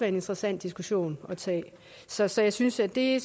en interessant diskussion at tage så så jeg synes at det